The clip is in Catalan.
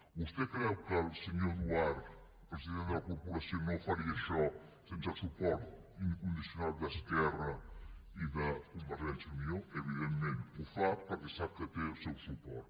vostè creu que el senyor duart president de la corporació no faria això sense el suport incondicional d’esquerra republicana i de convergència i unió evidentment ho fa perquè sap que té el seu suport